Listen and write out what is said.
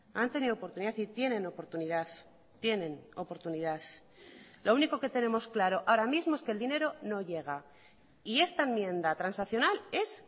han tenido oportunidad y tienen oportunidad tienen oportunidad lo único que tenemos claro ahora mismo es que el dinero no llega y esta enmienda transaccional es